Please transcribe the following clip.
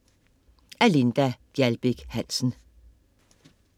Af Linda Gjaldbæk Hansen